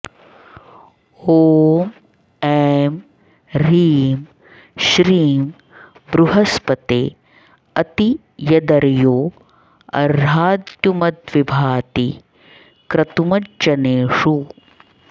ॐ ऐं ह्रीं श्रीं बृहस्पते अति यदर्यो अर्हाद्युमद्विभाति क्रतुमज्जनेषु